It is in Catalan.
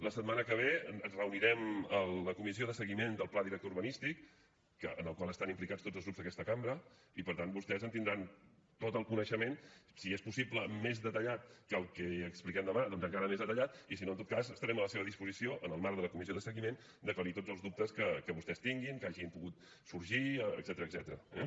la setmana que ve ens reunirem a la comissió de seguiment del pla director urbanístic en la qual estan implicats tots els grups d’aquesta cambra i per tant vostès en tindran tot el coneixement si és possible més detallat que el que expliquem demà doncs encara més detallat i si no en tot cas estarem a la seva disposició en el marc de la comissió de seguiment d’aclarir tots els dubtes que vostès tinguin que hagin pogut sorgir etcètera